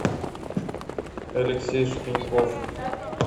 алексей шпиньков